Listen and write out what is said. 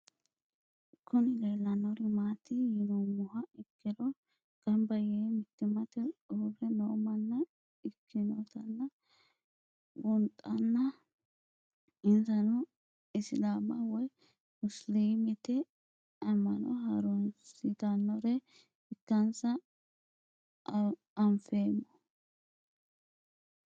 Kuni leelanori maati yinumoha ikiro gamba yee mitimate uure noo manna ikinotana bunxana insano isilama woyi musilimete ama'no harunsitanore ikansa anfemo?